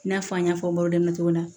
I n'a fɔ an y'a fɔ bamanankan na cogo min na